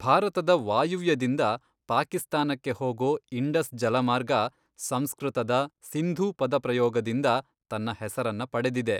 ಭಾರತದ ವಾಯುವ್ಯದಿಂದ ಪಾಕಿಸ್ತಾನಕ್ಕೆ ಹೋಗೊ ಇಂಡಸ್ ಜಲಮಾರ್ಗ ಸಂಸೃತದ ಸಿಂಧೂ ಪದಪ್ರಯೋಗದಿಂದಾ ತನ್ನ ಹೆಸರನ್ನ ಪಡೆದಿದೆ.